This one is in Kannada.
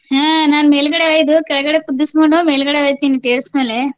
ಹಾ ನಾನ್ ಮೇಲ್ಗಡೆ ಒಯ್ದು ಕೆಳ್ಗಡೆ ಕುದ್ದುಸ್ಕೊಂಡೂ ಮೇಲ್ಗಡೆ ಒಯ್ತೀನ್ terrace ಮ್ಯಾಲೆ.